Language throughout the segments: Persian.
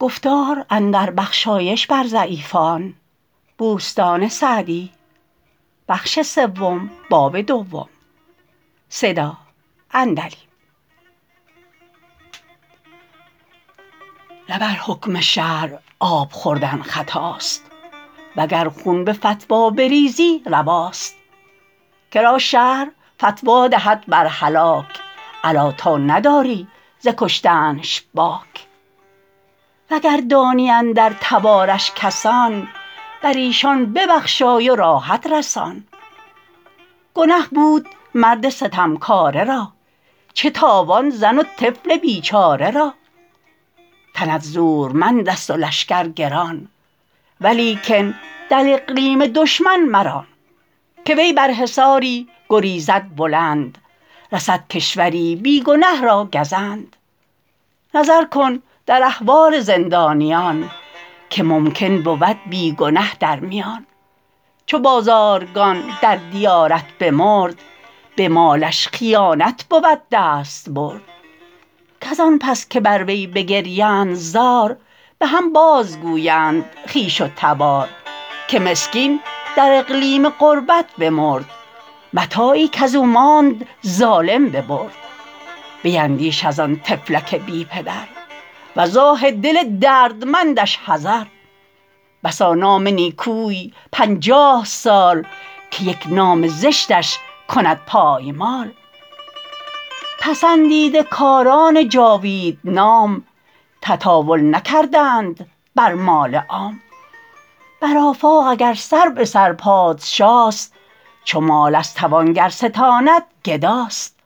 نه بر حکم شرع آب خوردن خطاست وگر خون به فتوی بریزی رواست که را شرع فتوی دهد بر هلاک الا تا نداری ز کشتنش باک وگر دانی اندر تبارش کسان بر ایشان ببخشای و راحت رسان گنه بود مرد ستمکاره را چه تاوان زن و طفل بیچاره را تنت زورمند است و لشکر گران ولیکن در اقلیم دشمن مران که وی بر حصاری گریزد بلند رسد کشوری بی گنه را گزند نظر کن در احوال زندانیان که ممکن بود بی گنه در میان چو بازارگان در دیارت بمرد به مالش خساست بود دستبرد کز آن پس که بر وی بگریند زار به هم باز گویند خویش و تبار که مسکین در اقلیم غربت بمرد متاعی کز او ماند ظالم ببرد بیندیش از آن طفلک بی پدر وز آه دل دردمندش حذر بسا نام نیکوی پنجاه سال که یک نام زشتش کند پایمال پسندیده کاران جاوید نام تطاول نکردند بر مال عام بر آفاق اگر سر به سر پادشاست چو مال از توانگر ستاند گداست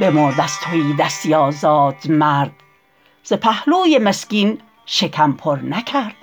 بمرد از تهیدستی آزاد مرد ز پهلوی مسکین شکم پر نکرد